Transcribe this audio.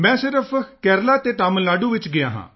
ਮੈਂ ਸਿਰਫ ਕੇਰਲਾ ਤੇ ਤਮਿਲ ਨਾਡੂ ਵਿੱਚ ਗਿਆ ਹਾਂ